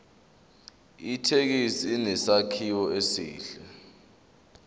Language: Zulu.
ithekisi inesakhiwo esihle